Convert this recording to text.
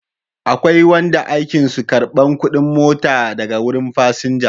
Akwai wanda aikin su karban kudin mota daga wurin fasinja